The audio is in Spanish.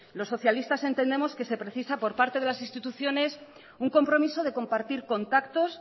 los socialistas entendemos que se precisa por parte de las instituciones un compromiso de compartir contactos